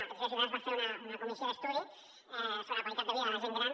a petició de ciutadans es va fer una comissió d’estudi sobre la qualitat de vida de la gent gran